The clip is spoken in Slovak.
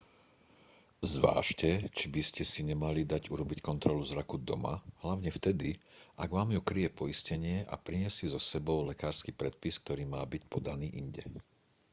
zvážte či by ste si nemali dať urobiť kontrolu zraku doma hlavne vtedy ak vám ju kryje poistenie a priniesť si so sebou lekársky predpis ktorý má byť podaný inde